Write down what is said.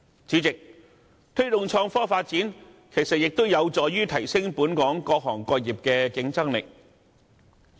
主席，推動創科發展，亦有助提升本港各行各業的競爭力。